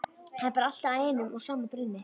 Það bar allt að einum og sama brunni.